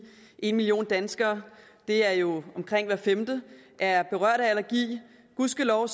en million danskere det er jo omkring hver femte er berørt af allergi gudskelov